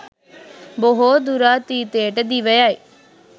බොහෝ දුරාතීතයට දිව යයි.